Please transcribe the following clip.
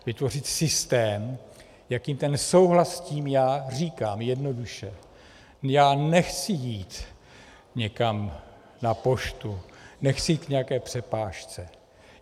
Vytvořit systém, jakým ten souhlas s tím, já říkám jednoduše, já nechci jít někam na poštu, nechci jít k nějaké přepážce.